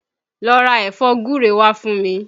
Lọ ra ẹ̀fọ́ gúre wá fún mi!